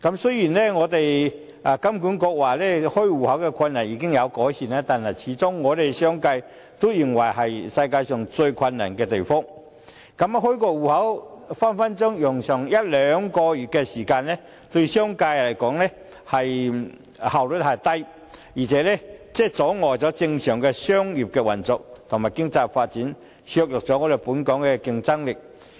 雖然金管局表示，開戶困難的問題已經有改善，可是，商界始終認為香港是全球最難開設戶口的地方，因為開一個戶口動輒要耗時一兩個月，對商界來說，這是效率低，而且阻礙了正常的商業運作和經濟發展，削弱了本港的競爭力。